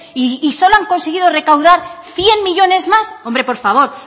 y solo han conseguido recaudar cien millónes más hombre por favor